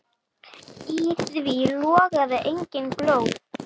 Í því logaði engin glóð.